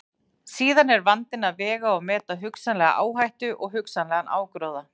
Og samt þessi stórhrikalegu leiktjöld hljóta að vera utan um rismeira leikrit.